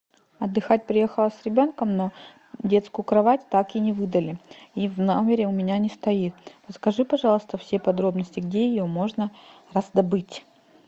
отдыхать приехала с ребенком на детскую кровать так и не выдали и в номере у меня не стоит подскажи пожалуйста все подробности где ее можно раздобыть